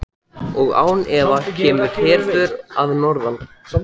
Og án efa kemur herför að norðan.